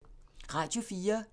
Radio 4